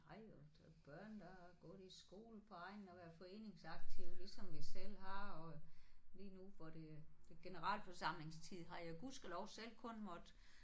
Nej og og børn der har gået i skole på egnen og været foreningsaktive ligesom jeg selv har og lige nu går det det generalforsamlingstid har jeg gudskelov selv kun måtte